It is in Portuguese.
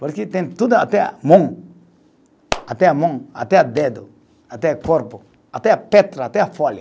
Porque tem tudo, até a mão, até a mão, até o dedo, até corpo, até